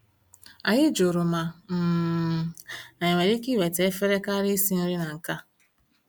Anyị jụrụ ma um anyị nwere ike iweta efere karịa isi nri na nke a